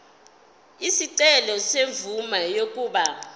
isicelo semvume yokuba